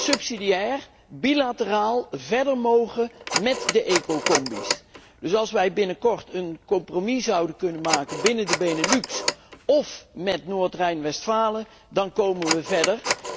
dat wij subsidiair, bilateraal verder mogen met de ecocombi's. Dus als wij binnenkort een compromis zouden kunnen maken binnen de Benelux of met Noordrijn Westfalen, dan komen